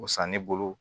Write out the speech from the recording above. O san ne bolo